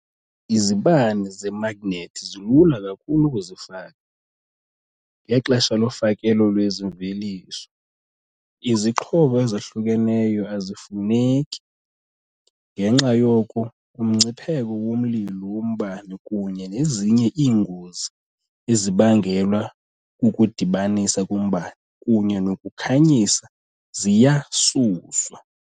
Izibane zemagnethi zilula kakhulu ukuzifaka, ngexesha lofakelo lwezi mveliso, izixhobo ezahlukeneyo azifuneki, ngenxa yoko umngcipheko womlilo wombane kunye nezinye iingozi ezibangelwa kukudibanisa kombane kunye nokukhanyisa ziyasuswa.